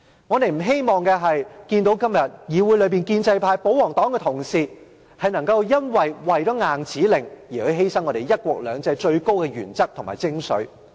我們不希望看到今天議會內建制派、保皇黨的同事，為了硬指令而犧牲"一國兩制"的最高原則及精髓。